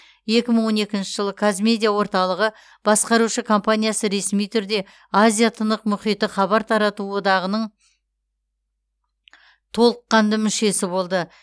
екі мың он екінші жылы қазмедиа орталығы басқарушы компаниясы ресми түрде азия тынық мұхиты хабар тарату одағының толыққанды мүшесі болды